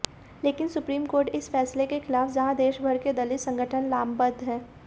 लेकिन supreme court के इस फैसले के खिलाफ जहां देशभर के दलित संगठन लामबंद हैं